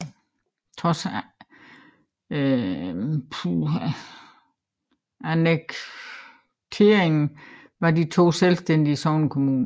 Trods annekteringen var de to selvstændige sognekommuner